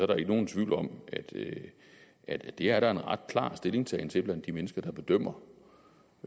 der ikke nogen tvivl om at det er der en ret klar holdning til til blandt de mennesker der bedømmer